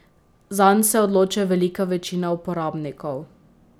Zanj se odloča velika večina uporabnikov.